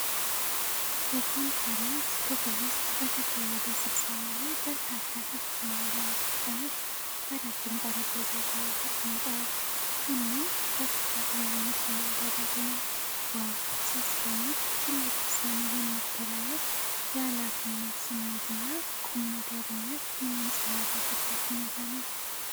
የኮንፈረንስ ክፍል ውስጥ በተካሄደ ስብሰባ ላይ በርካታ ከፍተኛ ባለሥልጣናት በረጅም ጠረጴዛ ዙሪያ ተቀምጠዋል። ሁሉም በትኩረት ውይይት እያደረጉ ነው። ዋው! ሲያስደንቅ! ትልቅ ውሳኔ የሚተላለፍ የኃላፊነት ስሜትና ቁምነገርነት የሚንጸባረቅበት ሁኔታ ነው።